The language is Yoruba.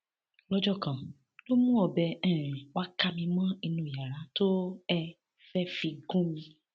lọjọ kan ló mú ọbẹ um wàá ká mi mọ inú yàrá tó um fẹẹ fi gún mi